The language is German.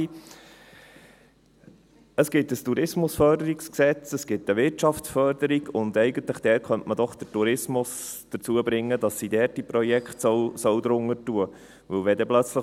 Es gibt ein Tourismusentwicklungsgesetz (TEG), es gibt eine Wirtschaftsförderung und eigentlich könnte man doch den Tourismus dazu bringen, dass er dort seine Projekte darunter fassen soll.